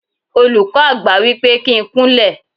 Olùkọ́ Àgbà wípé kí n kún lẹ̀.